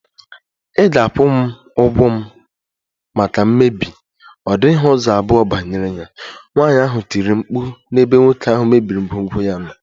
Ị ga- akwụ m ụgwọ maka mmebi, ọ dịghị ụzọ abụọ banyere ya, nwaanyị ahụ tiri mkpu n' ebe nwoke ahụ mebiri ngwongwo ya nọ.